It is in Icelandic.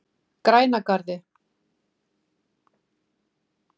Grænagarði